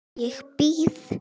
Ég býð!